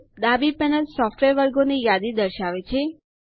ડાબી panel software વર્ગોની યાદી દર્શાવે છે